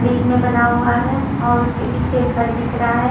बीच में बना हुआ है और उसके पीछे घर दिख रहा है।